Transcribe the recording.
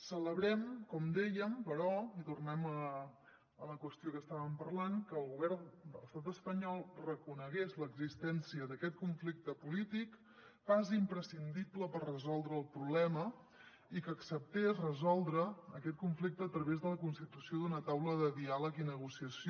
celebrem com dèiem però i tornem a la qüestió que estàvem parlant que el govern de l’estat espanyol reconegués l’existència d’aquest conflicte polític pas imprescindible per resoldre el problema i que acceptés resoldre aquest conflicte a través de la constitució d’una taula de diàleg i negociació